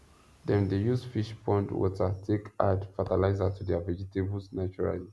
dem dey use fish pond water take add fertilizer to their vegetables naturally